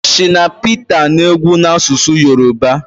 shina Peta na-egwu na-asụsụ Yoruba